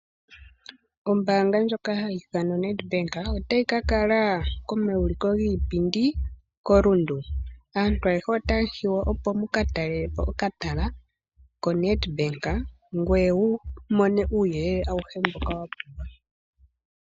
Ombaanga ndjoka hayi ithanwa oNedbank otayi ka kala komauliko giipindi koRundu. Aantu ayehe otamu hiywa opo muka tale okatala koNedbank, ngoye wu mone uuyelele awuhe mboka wa pumbwa.